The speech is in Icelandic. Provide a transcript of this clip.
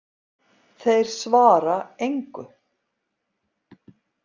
Þeir svara engu.